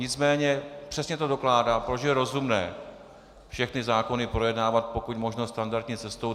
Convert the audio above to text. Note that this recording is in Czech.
Nicméně přesně to dokládá, proč je rozumné všechny zákony projednávat pokud možno standardní cestou.